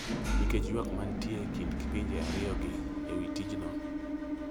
nikech ywak ma nitie e kind pinje ariyogi e wi tichno.